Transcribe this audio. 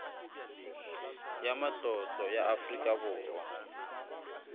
ya matlotlo ya afrika borwa